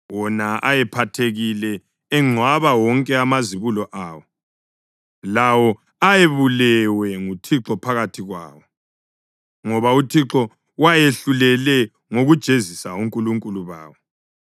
wona eyephathekile engcwaba wonke amazibulo awo, lawo ayebulewe nguThixo phakathi kwawo; ngoba uThixo wayehlulele ngokujezisa onkulunkulu bawo.